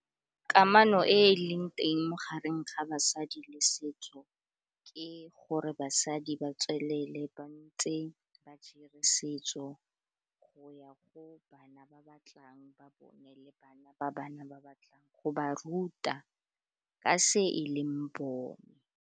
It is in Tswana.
Kamano e e leng teng mo gareng ga basadi le setso, ke gore basadi ba tswelele ba ntse ba jere setso go ya ko bana ba batlang ba bone le bana ba bana ba batlang, go ba ruta ka se e leng bone.